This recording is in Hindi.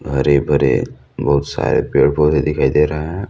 हरे-भरे बहुत सारे पेड़ पौधे दिखाई दे रहे हैं।